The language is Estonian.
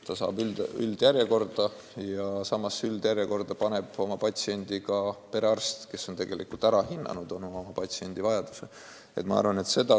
Ta pannakse üldjärjekorda ja samas üldjärjekorda paneb oma patsiendi ka perearst, kes oma patsiendi ravivajaduse on juba ära hinnanud.